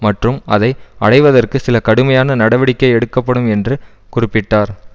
மற்றும் அதை அடைவதற்கு சில கடுமையான நடவடிக்கை எடுக்கப்படும் என்று குறிப்பிட்டார்